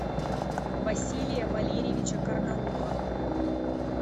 василия валерьевича карнауха